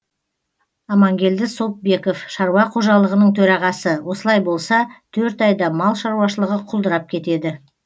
амангелді сопбеков шаруа қожалығының төрағасы осылай болса төрт айда мал шаруашылығы құлдырап кетеді